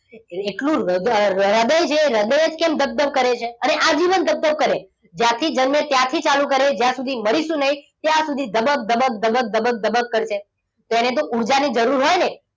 એકલુ રદ હૃદય છે હૃદય જ કેમ ધબ ધબ કરે છે. અને આજીવન ધબધપ કરે. જ્યાંથી જન્મે ત્યાંથી ચાલુ કરે જ્યાં સુધી મરીશું નહીં ત્યાં સુધી ધબક ધબક ધબક ધબક ધબક કરશે. તેને તો ઊર્જાની જરૂર હોય ને!